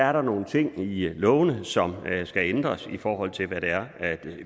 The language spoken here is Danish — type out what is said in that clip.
er der nogle ting i lovene som skal ændres i forhold til hvad det er